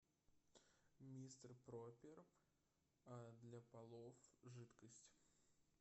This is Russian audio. мистер пропер для полов жидкость